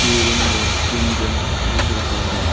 ये रूम में तीन जन दिख रहा है।